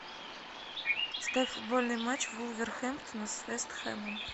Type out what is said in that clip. ставь футбольный матч вулверхэмптона с вест хэмом